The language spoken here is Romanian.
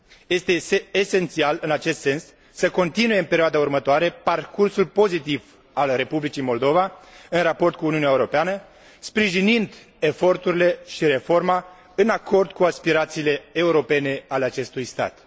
Este esențial, în acest sens, să continue în perioada următoare parcursul pozitiv al Republicii Moldova în raport cu Uniunea Europeană, sprijinind eforturile și reforma în acord cu aspirațiile europene ale acestui stat.